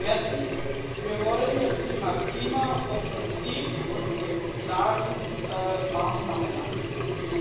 Erstens Wir wollen das Thema Klima offensiv und mit klaren Maßnahmen angehen.